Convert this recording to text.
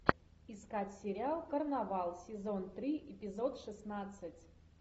искать сериал карнавал сезон три эпизод шестнадцать